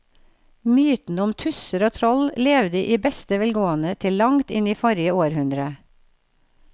Mytene om tusser og troll levde i beste velgående til langt inn i forrige århundre.